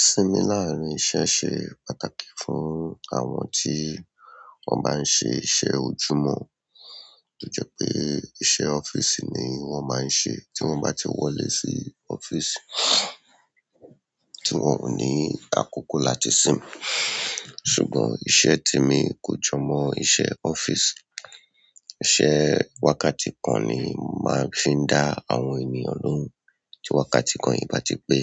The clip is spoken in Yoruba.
Ìsinmi láàárín iṣẹ́ ṣe pàtàkì fún àwọn tí wọ́n bá ń ṣe iṣẹ́ ojúmọ́. Ó jẹ́ pé iṣẹ́ ọ́fíìsì ni wọ́n máa ń ṣe, tí wọ́n bá ti wọlé sí ọ́fíìsì, tí wọ́n ò ní àkókò láti sinmi. Ṣùgbọ́n iṣẹ́ tèmi kò jọmọ́ iṣẹ́ ọ́fíìsì. Iṣẹ́ wákàtí kan ni màá fi ń dá àwọn ènìyàn lóhùn. Tí wákàtí kan yìí bá ti pé,